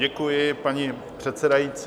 Děkuji, paní předsedající.